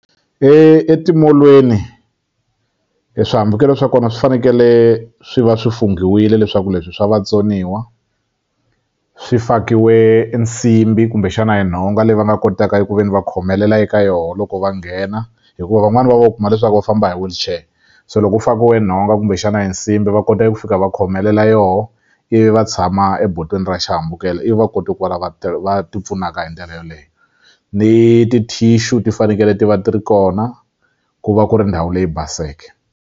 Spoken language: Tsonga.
Etimolweni e swihambukelo swa kona swi fanekele swi va swi funghiwile leswaku leswi swa vatsoniwa swi fakiwe e nsimbhi kumbexana e nhonga leyi va nga kotaka eku ve ni va khomelela eka yoho loko va nghena hikuva van'wani va vo u kuma leswaku va famba hi wheelchair se lo ku fakiwe nhonga kumbexana e nsimbhi va kota eku fika va khomelela yoho ivi va tshama ebotweni ra xihambukelo ivi va kote ku va lava va ti pfunaka hi ndlela yoleye ni ti-tissue ti fanekele ti va ti ri kona ku va ku ri ndhawu leyi baseke.